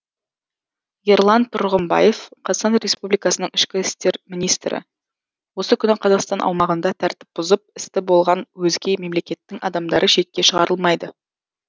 ерлан тұрғымбаев қр ішкі істер министрі осы күні қазақстан аумағында тәртіп бұзып істі болған өзге мемлекеттің адамдары шетке шығарылмайды